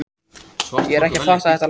Ég er ekki að fatta þetta land.